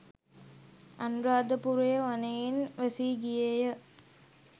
අනුරාධපුරය වනයෙන් වැසී ගියේය.